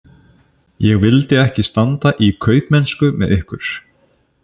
Ég vildi ekki standa í kaupmennsku með ykkur!